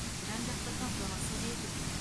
жан жақты қамтамасыз ету